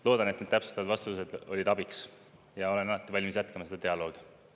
Loodan, et need täpsustavad vastused olid abiks, ja olen alati valmis jätkama seda dialoogi.